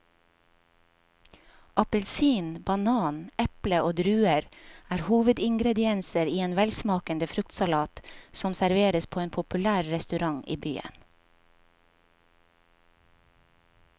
Appelsin, banan, eple og druer er hovedingredienser i en velsmakende fruktsalat som serveres på en populær restaurant i byen.